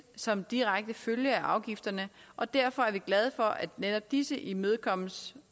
som direkte følge af afgifterne og derfor er vi glade for at netop disse imødekommes